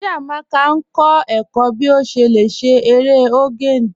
Chíamaka n kọ ẹ̀kọ̀ bí o ṣé lẹ̀ ṣé èrè ogene